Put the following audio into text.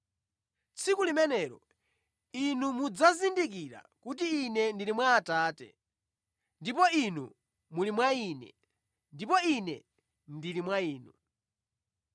Tsiku limenelo inu mudzazindikira kuti Ine ndili mwa Atate, ndipo inu muli mwa Ine, ndipo Ine ndili mwa inu.